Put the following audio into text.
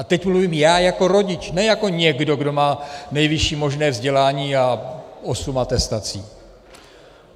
A teď mluvím já jako rodič, ne jako někdo, kdo má nejvyšší možné vzdělání a osm atestací.